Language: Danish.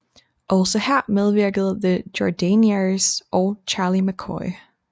Også her medvirkede The Jordanaires og Charlie McCoy